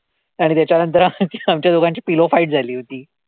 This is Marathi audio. आणि त्याच्यानंतर आमच्या आमच्या दोघांची pillow fight झाली होती.